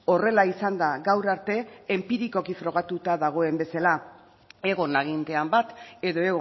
horrela izanda gaur arte enpirikoki frogatuta dagoen bezala egon agintean bat edo